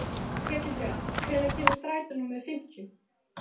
Ketilbjörn, hvenær kemur strætó númer fimmtíu?